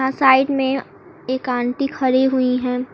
और साइड में एक आंटी खड़ी हुई हैं।